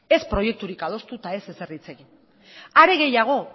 ez proiekturik adostu eta ez ezer hitz egin are gehiago